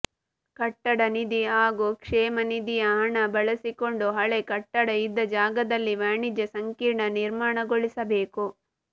ಕಟ್ಟಡ ನಿಧಿ ಹಾಗೂ ಕ್ಷೇಮನಿಧಿಯ ಹಣ ಬಳಸಿಕೊಂಡು ಹಳೆ ಕಟ್ಟಡ ಇದ್ದ ಜಾಗದಲ್ಲಿ ವಾಣಿಜ್ಯ ಸಂಕೀರ್ಣ ನಿರ್ಮಾಣಗೊಳಿಸಬೇಕು